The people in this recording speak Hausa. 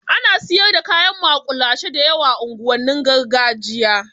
Alot of street food is being sold in the ghetto area